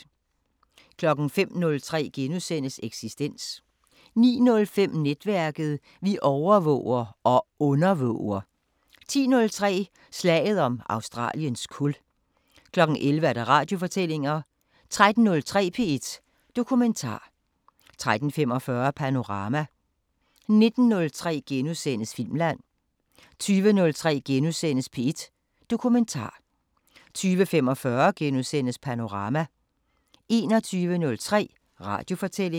05:03: Eksistens * 09:05: Netværket: Vi overvåger – og undervåger! 10:03: Slaget om Australiens kul 11:00: Radiofortællinger 13:03: P1 Dokumentar 13:45: Panorama 19:03: Filmland * 20:03: P1 Dokumentar * 20:45: Panorama * 21:03: Radiofortællinger